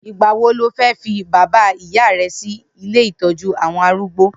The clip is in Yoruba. Nigbà wó ló fè fi bàbá ìyá rè si ilé itọ̀jú awọn àrúgbó?